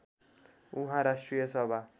उहाँ राष्ट्रिय सभा